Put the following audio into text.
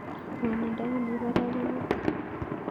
Ng'wonindo ne mii parak ko mito